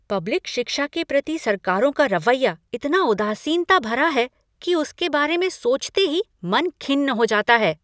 Public शिक्षा के प्रति सरकारों का रवैया इतना उदासीनता भरा है कि उसके बारे में सोचते ही मन खिन्न हो जाता है।